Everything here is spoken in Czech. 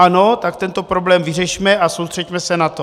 Ano, tak tento problém vyřešme a soustřeďme se na to.